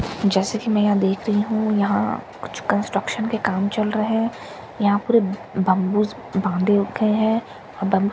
जैसा कि मैं यहां देख रही हूं यहां कुछ कंस्ट्रक्शन के काम चल रहे हैं यहां पूरे बंबूस बांधे रखे हैं और बंबूस के पीछे जो --